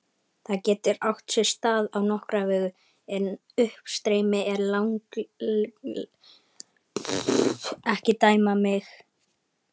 Það getur átt sér stað á nokkra vegu, en uppstreymi er langalgengasta ástæða skýjamyndunar.